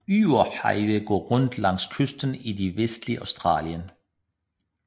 Eyre Highway går rundt langs kysten i det vestlige Australien